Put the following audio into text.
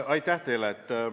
Aitäh teile!